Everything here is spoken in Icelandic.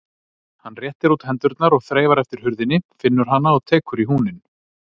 Hann réttir út hendurnar og þreifar eftir hurðinni, finnur hana og tekur í húninn.